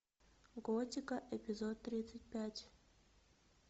готика эпизод тридцать пять